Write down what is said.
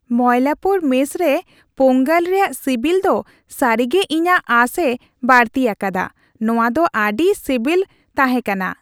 Mylapore mess ᱨᱮ ᱯᱳᱝᱜᱚᱞ ᱨᱮᱭᱟᱜ ᱥᱤᱵᱤᱞ ᱫᱚ ᱥᱟᱹᱨᱤᱜᱮ ᱤᱧᱟᱹᱜ ᱟᱸᱥᱮ ᱵᱟᱹᱲᱛᱤ ᱟᱠᱟᱫᱟ ᱾ ᱱᱚᱶᱟᱫᱚ ᱟᱹᱰᱤ ᱥᱤᱵᱤᱞ ᱛᱦᱟᱮᱸ ᱠᱟᱱᱟ ᱾